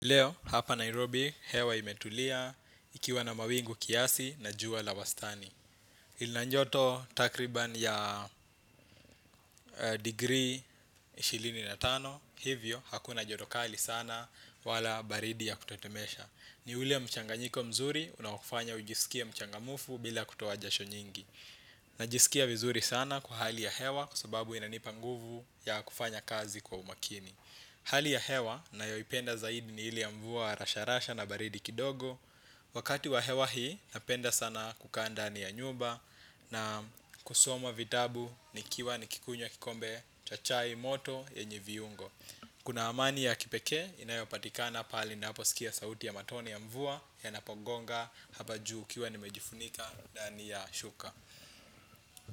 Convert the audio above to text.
Leo, hapa Nairobi, hewa imetulia, ikiwa na mawingu kiasi na jua la wastani. Lina joto takriban ya degree ishirini na tano, hivyo, hakuna joto kali sana wala baridi ya kutetemesha. Ni ule mchanganyiko mzuri, unaofanya ujisikie mchangamufu bila kutoa jasho nyingi. Najisikia vizuri sana kwa hali ya hewa, kwa sababu inanipa nguvu ya kufanya kazi kwa umakini. Hali ya hewa nayoipenda zaidi ni ile ya mvua rasharasha na baridi kidogo. Wakati wa hewa hii napenda sana kukaa ndani ya nyumba na kusoma vitabu nikiwa nikikunywa kikombe cha chai moto yenye viungo. Kuna amani ya kipekee inayopatikana pale ninaposikia sauti ya matone ya mvua yanapogonga hapa juu ikiwa nimejifunika ndani ya shuka.